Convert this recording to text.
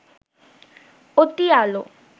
অতি আলো